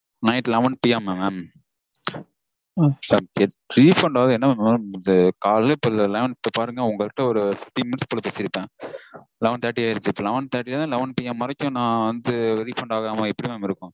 Night elevenPM -ஆ mam? refund ஆக என்ன mam? காலைல இப்போ eleven பாருங்க இப்போ பாருங்க உங்கக்கிட்ட ஒரு fifteen minutes போல பேசிருப்பேன். eleven thirty ஆயிருச்சு. Eleven thirty இருந்து elevenP. M வரைக்கும் நா வந்து refund ஆகாம எப்படி mam இருக்கும்